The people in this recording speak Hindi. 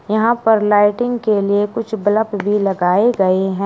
यहां पर लाइटिंग के लिए कुछ बलप भी लगाए गए हैं।